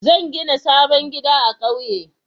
Zan gina sabon gida a ƙauye.